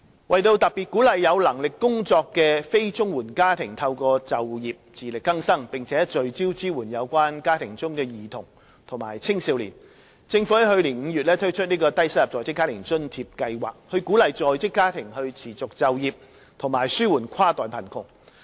為特別鼓勵有能力工作的非綜援家庭透過就業自力更生，並聚焦支援有關家庭中的兒童及青少年，政府在去年5月推出低收入在職家庭津貼計劃("低津計劃"），以鼓勵在職家庭持續就業，紓緩跨代貧窮。